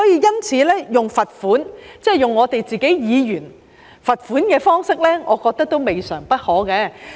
因此，採用罰款的方式，即對議員施加罰款，我認為未嘗不可。